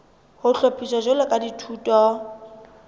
ho hlophiswa jwalo ka dithuto